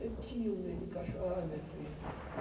Eu tinha um medo de cacho, ai, minha filha.